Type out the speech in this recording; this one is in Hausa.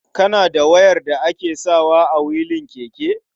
Kana da wayar da ake sawa a wilin keke?